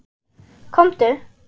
Komdu